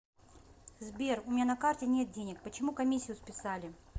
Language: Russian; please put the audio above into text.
сбер у меня на карте нет денег почему комиссию списали